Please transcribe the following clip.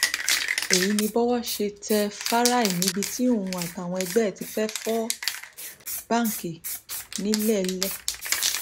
èyí ni bọwọ ṣe tẹ fáráì níbi tí òun àtàwọn ẹgbẹ ẹ ti fẹẹ fọ báǹkì ńilélẹ